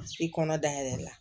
I kɔnɔ dayɛlɛla